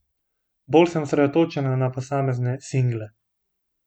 Bolj sem osredotočena na posamezne single.